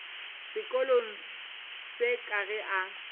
sekolong se ka ge a